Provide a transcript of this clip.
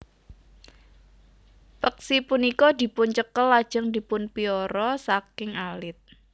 Peksi punika dipuncekel lajeng dipunpiara saking alit